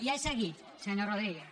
ja he seguit senyor rodríguez